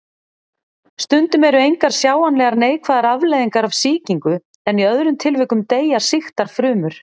Stundum eru engar sjáanlegar neikvæðar afleiðingar af sýkingu en í öðrum tilvikum deyja sýktar frumur.